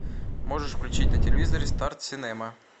можешь включить на телевизоре старт синема